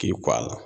K'i kɔ a la